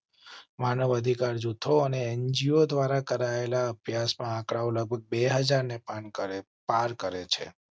માનવ અધિકાર જૂથો અને એનજીઓ દ્વારા કરાયેલા અભ્યાસ માં આ આંકડો લગભગ બે હાજર ને પાન કરેં પાર કરેં છે.